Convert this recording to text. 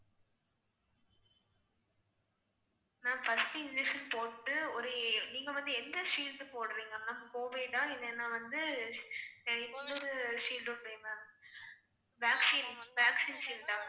ma'am first injection போட்டு ஒரு ஏ~ நீங்க வந்து எந்த shield போடுறீங்க ma'am covid ஆ இல்லனா வந்து இன்னொரு shield உண்டே ma'am vaccine vaccine shield ஆ ma'am